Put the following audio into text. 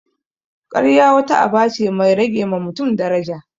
Karya wata aba ce mai rage ma mutun daraja